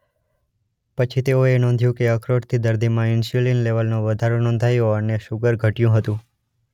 પછી તેઓએ નોધ્યું કે અખરોટથી દર્દીમાં ઇન્સ્યુલીન લેવલનો વધારો નોંધાયો અને શુગર ઘટયું હતું.